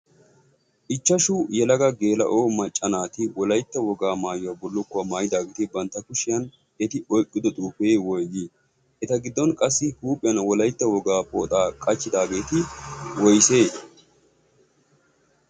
ichchashu yelaga geela7o macca naati wolaitta wogaa maayuwaa bullukkuwaa maayidaageeti bantta kushiyan eti oiqqido xuufee woigii? eta giddon qassi huuphiyan wolaitta wogaa pooxaa qachchidaageeti woisee?